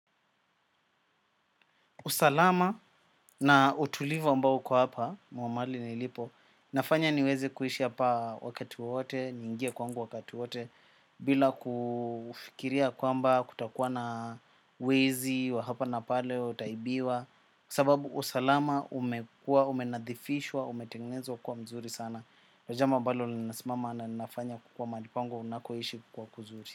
Usalama na utulivu ambao uko hapa, mahali nilipo, inafanya niweze kuishi hapa wakati wowote, niingie kwangu wakati wote, bila kufikiria kwamba kutakuwa na wezi wa hapa na pale, utaibiwa, sababu usalama umekua, umenadhifishwa, umetengnezwa kuwa mzuri sana. Pa jambo ambalo linasimama na linafanya kuwa mahali pangu ninakoishi kuwa kuzuri.